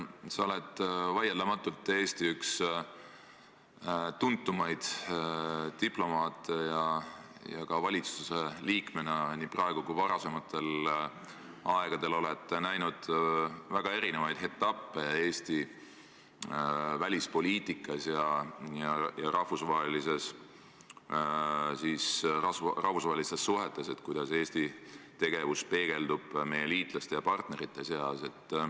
Sa oled vaieldamatult üks Eesti tuntumaid diplomaate ja oled ka valitsuse liikmena nii praegu kui ka varasematel aegadel näinud väga erinevaid etappe Eesti välispoliitikas ja rahvusvahelistes suhetes, seda, kuidas Eesti tegevus peegeldub meie liitlaste ja partnerite seas.